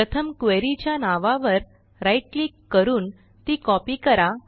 प्रथम क्वेरी च्या नावावर राईट क्लिक करून ती कॉपी करा